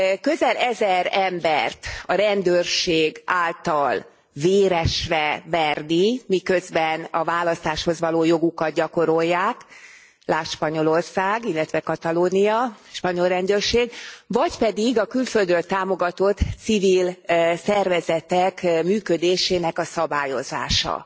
Közel ezer embert a rendőrség által véresre verni, miközben a választáshoz való jogukat gyakorolják, lásd Spanyolország, illetve Katalónia, spanyol rendőrség, vagy pedig a külföldről támogatott civil szervezetek működésének a szabályozása?